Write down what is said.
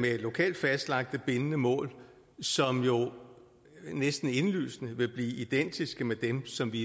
med lokalt fastlagte bindende mål som jo næsten indlysende vil blive identiske med dem som vi er